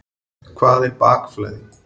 Hvað er bakflæði?